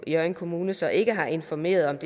hjørring kommune så ikke har informeret